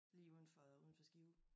Lige uden for uden for Skive